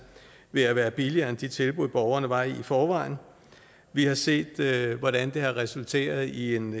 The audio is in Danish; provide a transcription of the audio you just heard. ved at være billigere end de tilbud borgerne var i i forvejen vi har set hvordan det har resulteret i en